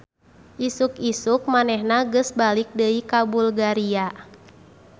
Isuk-isuk manehna geus balik deui ka Bulgaria